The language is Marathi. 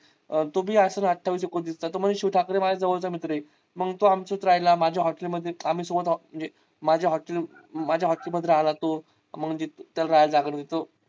तो बी असेल अठ्ठावीस एकोणतीस चा तो म्हणे शिव ठाकरे माझ्या जवळचा मित्र आहे. मग तो आमच्यात राहिला माझ्या hotel मध्ये आम्ही सोबत आहोत म्हणजे माझ्या hotel माझ्या hotel मध्ये राहिला तो म्हणजे तेल राहायला जागा दिलतो.